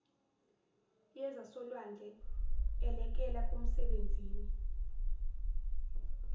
yezasolwandle elekela kumsebenzini